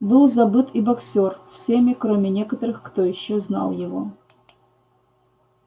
был забыт и боксёр всеми кроме некоторых кто ещё знал его